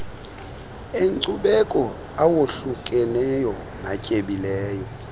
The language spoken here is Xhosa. enkcubeko awohlukeneyo natyebileyo